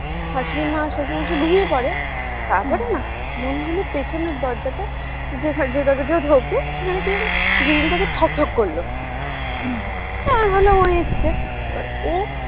শাশুড়িমা শশুর মশাই ঘুমিয়ে পরে তারপরে না মনে হলো পেছনের দরজাটা যেটা দিয়ে ও ঢোকে সেখানে কে জানি grill টাতে ঠকঠক করলো তো আমি ভাবলাম ও এসেছে এবার ও